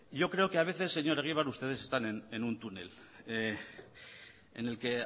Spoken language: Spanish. yo creo que a veces señor egibar ustedes están en un túnel en el que